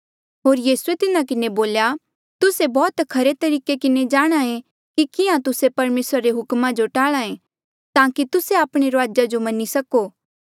होर यीसूए तिन्हा किन्हें बोल्या तुस्से बौह्त खरे तरीके किन्हें जाणहां ऐें कि किहां तुस्से परमेसरा रे हुकमा जो टाल्हा ऐें ताकि तुस्से आपणे रूआजा जो मनी सको